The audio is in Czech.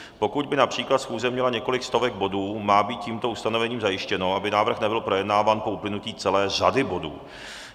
Pokud by například schůze měla několik stovek bodů, má být tímto ustanovením zajištěno, aby návrh nebyl projednáván po uplynutí celé řady bodů.